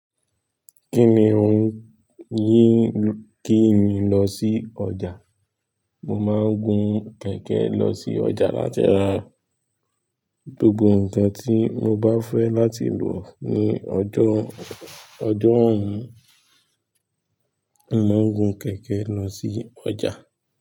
Kí ni ohun yí kí n lọ sí ọjà? Mo máa ń gun kẹ̀kẹ́ lọ sí ọjà láti ara. Gbogbo ǹkan tí mo bá fẹ́ láti lò ní ọjọ, ọjọ́ ọ̀ún, mo màá gun kẹ̀kẹ́ lọ sí ọjà.